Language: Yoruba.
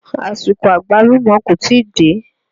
Àsìkò Àgbálùmọ́ kò tíì dé.